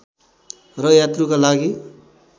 र यात्रुका लागि